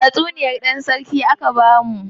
Tatsuniyar dan sarki aka bamu.